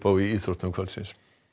í íþróttum kvöldsins